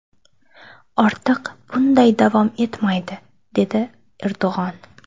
Ortiq bunday davom etmaydi”, dedi Erdo‘g‘on.